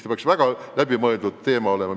Niisugused otsused peaks väga läbimõeldud olema.